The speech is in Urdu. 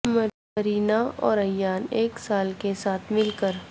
مرینا اور ایان ایک سال کے ساتھ مل کر